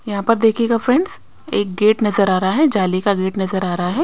यहां पर देखिएगा फ्रेंड्स एक गेट नजर आ रहा है जाली का गेट नजर आ रहा है।